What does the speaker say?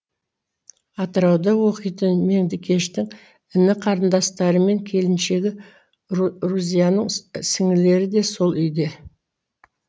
атырауда оқитын меңдекештің іні қарындастары мен келіншегі рузияның сіңлілері де сол үйде